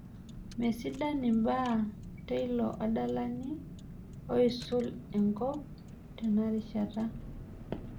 Mesidan imbaa teilo adalani oisul enkop tenarishata.